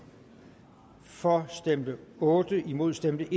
for stemte otte imod stemte